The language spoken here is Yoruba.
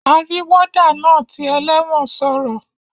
Arí warder naa ti eléwòn sòrò